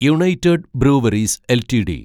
United Breweries LTD